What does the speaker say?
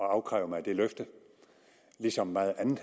at afkræve mig det løfte ligesom meget andet